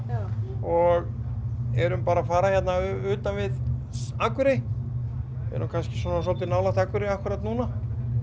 og erum að fara utan við Akurey erum kannski dálítið nálægt Akurey akkúrat núna